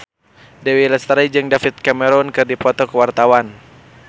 Dewi Lestari jeung David Cameron keur dipoto ku wartawan